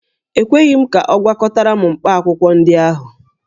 E kweghị m ka ọ gwakọtara m mkpaakwụkwọ ndị ahụ